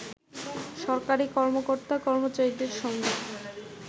সরকারি কর্মকর্তা/কর্মচারীদের সঙ্গে